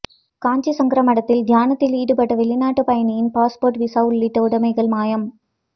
காஞ்சி சங்கர மடத்தில் தியானத்தில் ஈடுபட்ட வெளிநாட்டு பயணியின் பாஸ்போர்ட் விசா உள்ளிட்ட உடமைகள் மாயம்